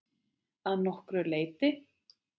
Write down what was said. Að nokkru leyti.